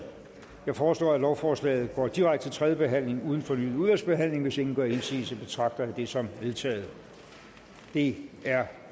jeg foreslår at lovforslaget går direkte til tredjebehandling uden fornyet udvalgsbehandling hvis ingen gør indsigelse betragter jeg det som vedtaget det er